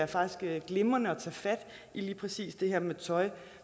faktisk det er glimrende at tage fat i lige præcis det her med tøj